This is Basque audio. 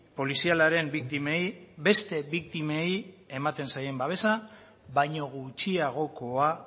polizialaren biktimei beste biktimei ematen zaien babesa baino gutxiagokoa